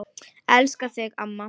Elska þig, amma.